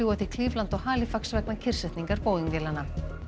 til Cleveland og Halifax vegna kyrrsetningar Boeing vélanna